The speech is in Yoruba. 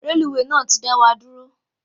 Reluwe náà ti dawọ duro